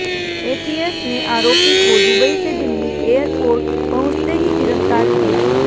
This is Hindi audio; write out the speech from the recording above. एटीएस ने आरोपी को दुबई से दिल्ली एयरपोर्ट पहुंचते ही गिरफ्तार किया